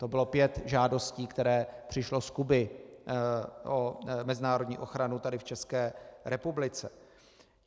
To bylo pět žádostí, které přišly z Kuby o mezinárodní ochranu tady v České republice.